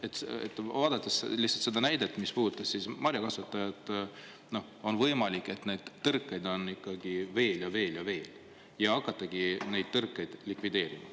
Vaadates lihtsalt seda näidet, mis puudutas marjakasvatajaid, on võimalik, et neid tõrkeid on ikkagi veel ja veel ja veel – ja hakatagi neid tõrkeid likvideerima.